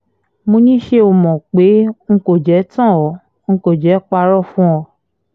mo ní ṣé o mọ̀ pé n kò jẹ́ tán an n kò jẹ́ parọ́ fún un